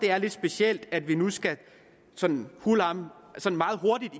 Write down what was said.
er lidt specielt at vi nu sådan meget hurtigt